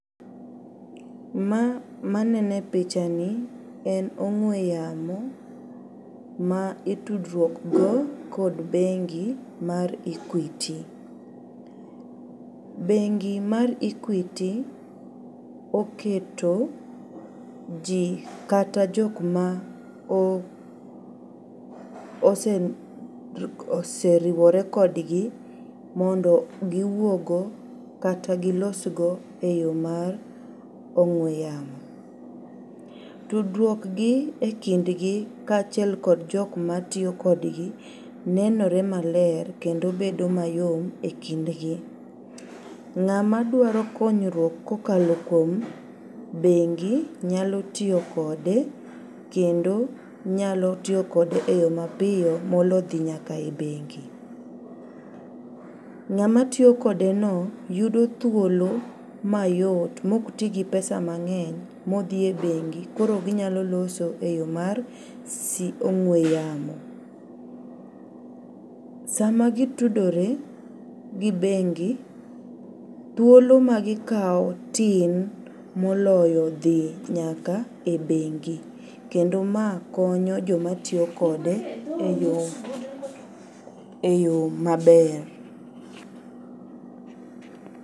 Ma manene picha ni en ong'we yamo ma itudruok go kod bengi mar equity. Bengi mar equity oketo jii kata jok ma o ose oseriwore kodgi mondo giwuogo kata gilos go eyoo mar ong'we yamo. Tudruok gi e kindgi kaachiel kod jok matiyo kodgi nenore maler kendo bedo mayom e kind gi. Ng'ama dwaro konyruok kokalo kuom bengi nyalo tiyo kode kendo nyalo tiyo kode e yoo mapiyo molo dhi nyaka e bengi. Ng'ama tiyo kode no yudo thuolo mayot mok tii gi pesa mang'eny nodhi e bengi koro ginyalo loso e yoo mar si ong'we yamo. Sama gitudore gi bengi, thuolo ma gikawo tin moloyo dhi nyaka e bengi kendo ma konyo joma tiyo kode e yoo e yoo maber.